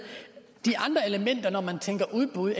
de andre elementer når man tænker udbud